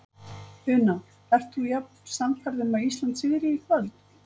Una: Ert þú jafn sannfærð um að Ísland sigri í kvöld?